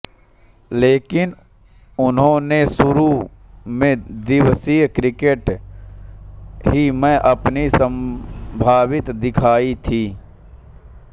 लेकिन उनन्होने शुरु मैं दिवसीय क्रिकेट मैं ही अपनी संभावित दिखाई थी